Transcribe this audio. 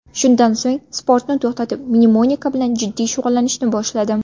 Shundan so‘ng sportni to‘xtatib, mnemonika bilan jiddiy shug‘ullanishni boshladim.